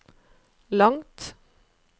langt